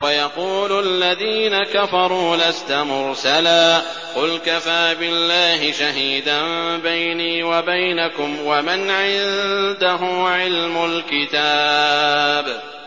وَيَقُولُ الَّذِينَ كَفَرُوا لَسْتَ مُرْسَلًا ۚ قُلْ كَفَىٰ بِاللَّهِ شَهِيدًا بَيْنِي وَبَيْنَكُمْ وَمَنْ عِندَهُ عِلْمُ الْكِتَابِ